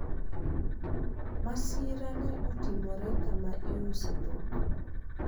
masira ne otimore kama iuse dhok